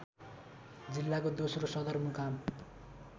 जिल्लाको दोस्रो सदरमुकाम